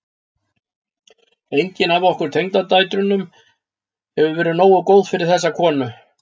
Engin af okkur tengdadætrunum hefur verið nógu góð fyrir þessa konu.